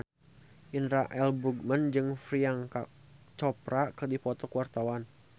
Indra L. Bruggman jeung Priyanka Chopra keur dipoto ku wartawan